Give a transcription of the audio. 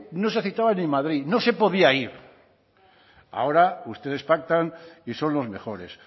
no se ni en madrid no se podía ir ahora ustedes pactan y son los mejores